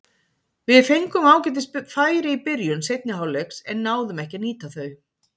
Við fengum ágætis færi í byrjun seinni hálfleiks en náðum ekki að nýta þau.